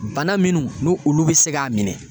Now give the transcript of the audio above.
Bana minnu n'u olu bi se k'a minɛ